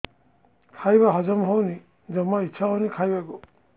ଖାଇବା ହଜମ ହଉନି ଜମା ଇଛା ହଉନି ଖାଇବାକୁ